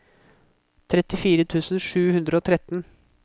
trettifire tusen sju hundre og tretten